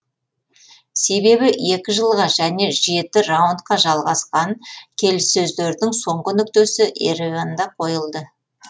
себебі екі жылға және жеті раундқа жалғасқан келіссөздердің соңғы нүктесі ереванда қойылды